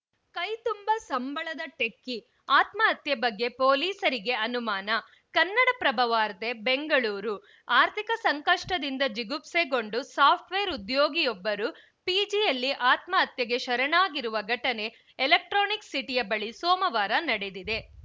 ಕೈತುಂಬ ಸಂಬಳದ ಟೆಕ್ಕಿ ಆತ್ಮಹತ್ಯೆ ಬಗ್ಗೆ ಪೊಲೀಸರಿಗೆ ಅನುಮಾನ ಕನ್ನಡಪ್ರಭ ವಾರ್ತೆ ಬೆಂಗಳೂರು ಆರ್ಥಿಕ ಸಂಕಷ್ಟದಿಂದ ಜಿಗುಪ್ಸೆಗೊಂಡು ಸಾಫ್ಟ್‌ವೇರ್‌ ಉದ್ಯೋಗಿಯೊಬ್ಬರು ಪಿಜಿಯಲ್ಲಿ ಆತ್ಮಹತ್ಯೆಗೆ ಶರಣಾಗಿರುವ ಘಟನೆ ಎಲೆಕ್ಟ್ರಾನಿಕ್‌ ಸಿಟಿಯ ಬಳಿ ಸೋಮವಾರ ನಡೆದಿದೆ